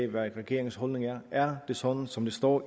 hvad regeringens holdning er er det sådan som det står